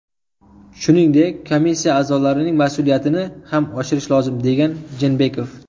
Shuningdek, komissiya a’zolarining mas’uliyatini ham oshirish lozim”, degan Jeenbekov.